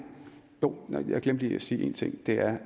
jeg glemte lige at sige en ting og det er